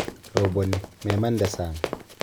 Roboni, memande sang.